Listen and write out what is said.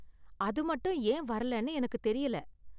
அது மட்டும் ஏன் வரலைன்னு எனக்குத் தெரியல.